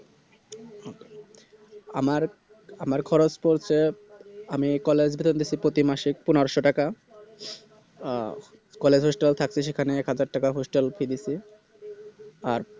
আমার আমার খরচ পড়ছে আমি College ধরে নিছি পতি মাসে পনেরোশো টাকা আ College Hostel থাকতো সেখানে একহাজার টাকা Hostel Fee দিছি আর